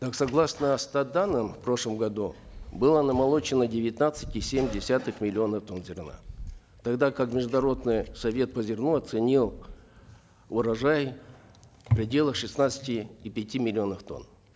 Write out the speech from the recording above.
так согласно стат данным в прошлом году было намолочено девятнадцать и семь десятых миллионов тонн зерна тогда как международный совет по зерну оценил урожай в пределах шестнадцати и пяти миллионов тонн